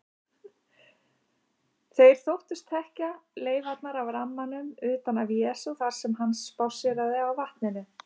Þeir þóttust þekkja leifarnar af rammanum utan af Jesú þar sem hann spásséraði á vatninu.